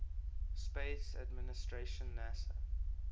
space administration nasa